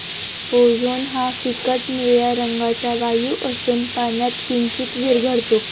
Ozone हा फिकट निळ्या रंगाचा वायु असून, पाण्यात किंचीत विरघळतो.